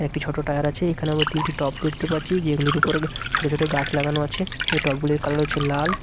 একটি ছোট টায়ার আছে এখানে আমরা তিনটি টব দেখতে পাচ্ছি যেগুলোর উপর ছোট ছোট গাছ লাগানো আছে সেই টব গুলির কালার হচ্ছে লাল।